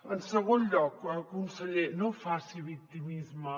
en segon lloc conseller no faci victimisme